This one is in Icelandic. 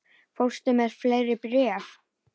Fórstu með fleiri bréf?